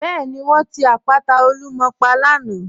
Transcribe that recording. Bẹẹni, wọn ti àpàtà Olúmọ̀ pà lànà.